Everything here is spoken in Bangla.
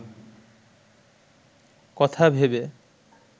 কথা ভেবে